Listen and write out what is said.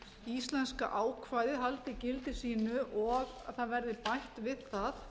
íslenska ákvæðið haldi gildi sínu og að það verði bætt við það